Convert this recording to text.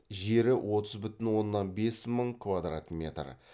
жері отыз бүтін оннан бес мың квадрат метр